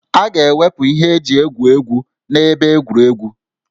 A ga-ewepụ ihe eji egwu egwu na ebe egwuregwu